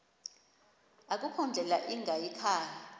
akukho ndlela ingayikhaya